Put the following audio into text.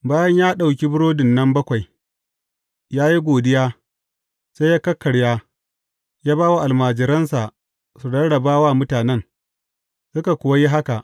Bayan ya ɗauki burodin nan bakwai, ya yi godiya, sai ya kakkarya, ya ba wa almajiransa su rarraba wa mutanen, suka kuwa yi haka.